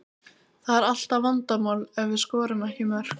Það er alltaf vandamál ef við skorum ekki mörk.